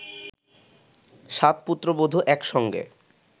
সাত পুত্রবধূ এক সঙ্গে